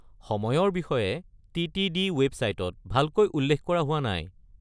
সময়ৰ বিষয়ে টি.টি.ডি. ৱেবছাইটত ভালকৈ উল্লেখ কৰা হোৱা নাই।